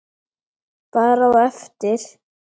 Bara á eftir.